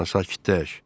Ana, sakitləş.